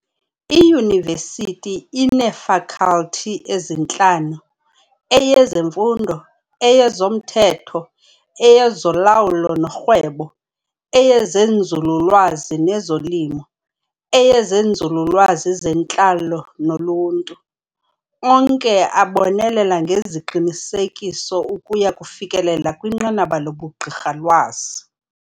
Iyunivesithi ineeFalkhalthi ezintlanu, eyezeMfundo, eyezoMthetho, eyezoLawulo noRhwebo, eyezNzululwazi nezoLimo, eyezeNzululwazi zeNtlalo noLuntu, onke abonelela ngeziqinisekiso ukuya kufikelela kwinqanaba lobuGqirhalwazi.